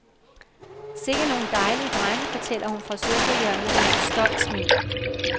Sikken nogle dejlige drenge, fortæller hun fra sofahjørnet med et stolt smil.